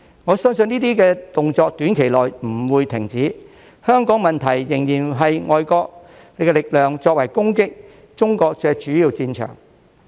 我相信這些動作短期內不會停止，香港問題仍是外國力量用作攻擊中國的主要戰場。